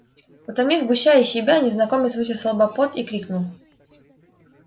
утомив гуся и себя незнакомец вытер со лба пот и крикнул